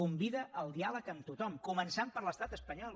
convida al diàleg amb tothom començant per l’estat espanyol